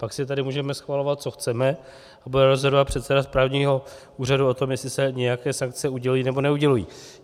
Pak si tady můžeme schvalovat, co chceme, a bude rozhodovat předseda správního úřadu o tom, jestli se nějaké sankce udělují, nebo neudělují.